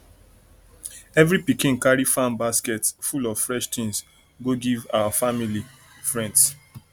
every pikin carry farm basket full of fresh things go give our family our family friends